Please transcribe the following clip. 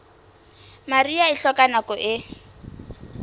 mariha e hloka nako e